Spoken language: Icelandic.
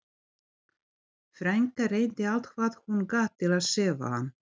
Frænka reyndi allt hvað hún gat til að sefa hann.